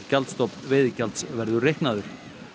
gjaldstofn veiðigjalds verður reiknaður